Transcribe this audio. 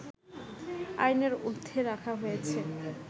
আইনের ঊর্ধ্বে রাখা হয়েছে